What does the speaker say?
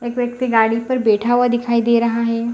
एक व्यक्ति गाड़ी पर बैठा हुआ दिखाई दे रहा हे।